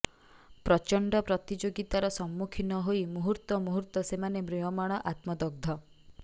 ପ୍ରଚଣ୍ଡ ପ୍ରତିଯୋଗିତାର ସମ୍ମୁଖୀନ ହୋଇ ମୁହୂର୍ତ୍ତମୁହୂର୍ତ୍ତ ସେମାନେ ମ୍ରିୟମାଣ ଆତ୍ମଦଗ୍ଧ